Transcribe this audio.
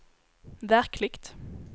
verkligt